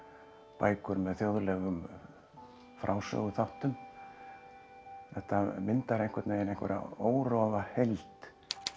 bækur með þjóðlegum frásöguþáttum þetta myndar einhvern veginn einhverja órofa heild